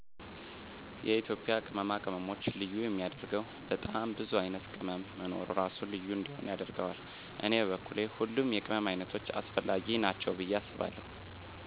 የኢትዩጵያ ቅመማ ቅመሞች ልዬ የሚየደረገወ በጣም ቡዙ አይነት ቅመም መኖሩ እራሱ ልዩ እንዲሆን ያደረገዋል። እኔ በኩል ሁሉም የቅመም አይነቶች አሰፈለጊ ናቸዉ ብየ አስባለሁ